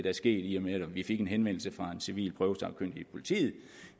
er sket i og med at vi fik en henvendelse fra en civil prøvesagkyndig i politiet